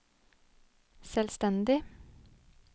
selvstendig